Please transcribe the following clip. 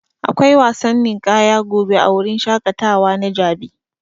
Akwai wasan ninƙaya gobe a wurin shaƙatawa na jabi.